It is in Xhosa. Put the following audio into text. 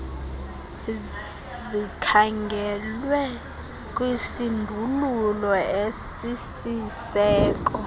zlikhangelwe kwisindululo esisisiseko